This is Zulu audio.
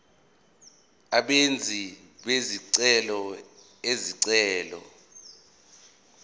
abenzi bezicelo izicelo